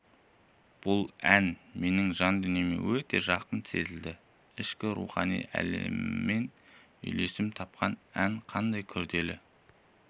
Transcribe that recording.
бұл ән менің жан дүниеме өте жақын сезілді ішкі рухани әлеміммен үйлесім тапқан әнді қандай күрделі